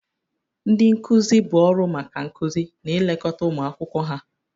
Ndị nkuzi bụ ọrụ maka nkuzi na ilekọta ụmụ akwụkwọ ha.